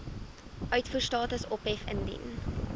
uitvoerstatus ophef indien